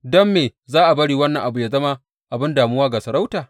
Don me za a bari wannan abu yă zama abin damuwa ga sarauta?